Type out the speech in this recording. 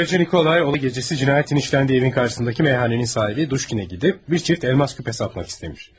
Boyacı Nikolay o gecəsi cinayətin işləndiyi evin karşısındakı meyxanənin sahibi Dushkinə gedib bir çift elmas küpə satmaq istəmiş.